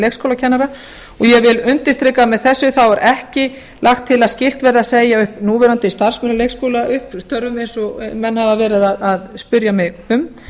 og ég við undirstrika að með þessu er ekki lagt til að skylt verði að segja upp núverandi starfsmönnum leikskóla upp störfum eins og menn hafa verið að spyrja mig um